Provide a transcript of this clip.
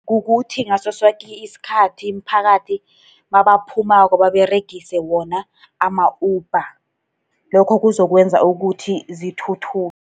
Kukuthi ngaso soke isikhathi imiphakathi nabaphumulako, baberegise wona ama-Uber. Lokho kuzokwenza ukuthi zithuthuke.